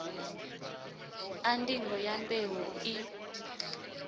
a ndingo ya mbeu i